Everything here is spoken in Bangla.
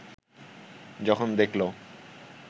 যখন দেখল